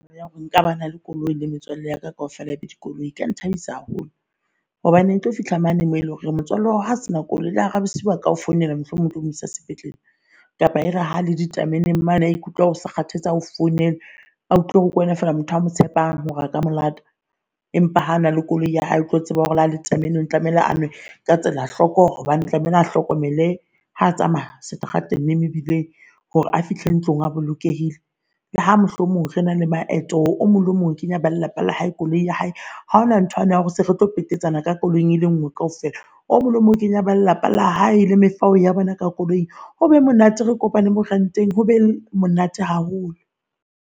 Ya hore nka ba na le koloi le metswalle yaka kaofela ebe ledi koloi eka nthabisa haholo hobane e tlo fihla mane moo eleng hore motswalle wa hao ha se na koloi le hara bosiu aka founela mohlomong o tlo mo isa sepetlele. Kapa e re ha le ditameneng maane a ikutlwa osa kgathetse, ao founela utlwa hore ke wena fela motho amo tshepang hore a ka mo lata Empa ha na le koloi ya hae, o tlo tseba hore na le tameneng tlamehile a nwe ka tsela hloko hobane tlamehile o hlokomele ha tsamaga strateng mme mebileng hore a fihla ntlong a bolokehile. Le ha mohlomong re na le maeto omong le emong o kenya ba lelapa la hae koloing ya hae ha hona ntho yane ya hore se re tlo petetsane ka koloing e le nngwe kaofela. Omong le emong kenya ba lelapa la hae le mefao ya bona ka koloing. Hobe monate re kopane more buang teng hobe monate haholo.